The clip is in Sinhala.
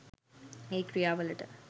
ඒ ක්‍රියා වලට